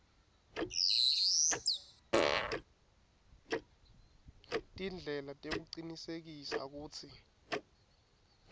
tindlela tekucinisekisa kutsi